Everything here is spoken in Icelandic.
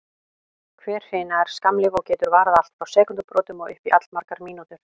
Hver hrina er skammlíf og getur varað allt frá sekúndubrotum og upp í allmargar mínútur.